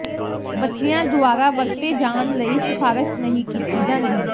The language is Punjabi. ਬੱਚਿਆਂ ਦੁਆਰਾ ਵਰਤੇ ਜਾਣ ਲਈ ਸਿਫਾਰਸ਼ ਨਹੀਂ ਕੀਤੀ ਜਾਂਦੀ